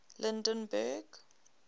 lydenburg